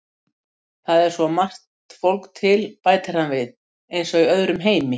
Það er svo margt fólk til, bætir hann við, eins og í öðrum heimi.